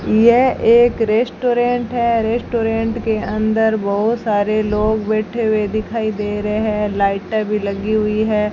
यह एक रेस्टोरेंट है रेस्टोरेंट के अंदर बहोत सारे लोग बैठे हुए दिखाई दे रहे हैं लाइटें भी लगी हुई है।